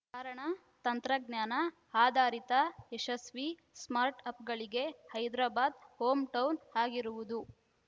ಕಾರಣ ತಾಂತ್ರಜ್ಞಾನ ಆಧಾರಿತ ಯಶಸ್ವಿ ಸ್ಟಾರ್ಟ್‌ಅಪ್‌ಗಳಿಗೆ ಹೈದರಾಬಾದ್‌ ಹೋಂ ಟೌನ್‌ ಆಗಿರುವುದು